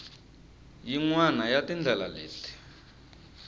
yin wana ya tindlela leti